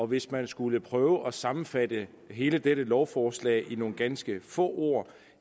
hvis man skulle prøve at sammenfatte hele dette lovforslag i nogle ganske få ord